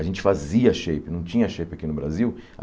A gente fazia shape, não tinha shape aqui no Brasil.